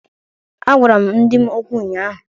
A gwara m di m okwụ ụnyahụ.